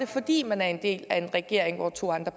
fordi man er en del af en regering hvor to andre